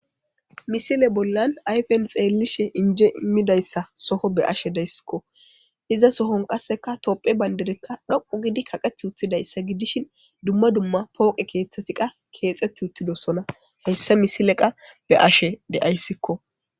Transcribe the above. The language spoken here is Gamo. Misile bollan ayfen xeellishe inje immidayssa soho be ashe deyssikko iza sohon qasseka topphe bayndedekka dhoqu gidi kaqeth uthidayssa gidishin dumma dumma pooqe keeththettiqa keexetti uttidosona heyssa misile qa be ashe deayssikko.